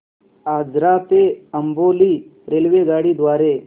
आजरा ते अंबोली रेल्वेगाडी द्वारे